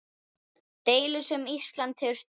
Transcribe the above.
Deilu sem Ísland hefur stutt.